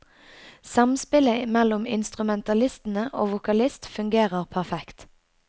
Samspillet mellom instrumentalistene og vokalist fungerer perfekt.